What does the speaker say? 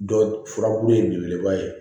Dɔ furabulu ye belebeleba ye